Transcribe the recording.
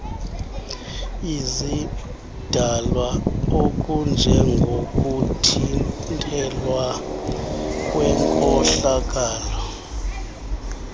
izidalwa okunjengokuthintelwa kwenkohlakalo